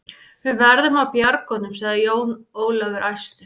Við verðum að bjarga honum, sagði Jón Ólafur æstur.